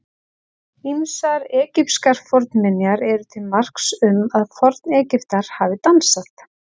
Ýmsar egypskar fornminjar eru til marks um að Forn-Egyptar hafi dansað.